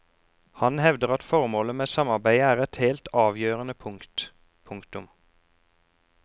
Han hevder at formålet med samarbeidet er et helt avgjørende punkt. punktum